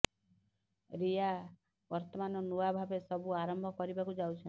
ରିୟା ବର୍ତ୍ତମାନ ନୂଆ ଭାବେ ସବୁ ଆରମ୍ଭ କରିବାକୁ ଯାଉଛନ୍ତି